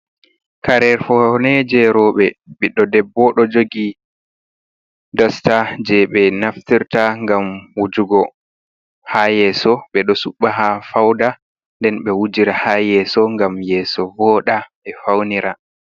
Kare fawne je robbe ɓiddo debbo do jogi dosta je be naftirta gam wujugo ha yeso be do supta ha fauda nden be wujira ha yeso gam yeso voda be faunira.